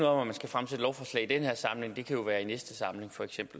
om at man skal fremsætte lovforslag i den her samling det kan jo være i næste samling